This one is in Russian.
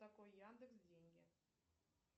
такой яндекс деньги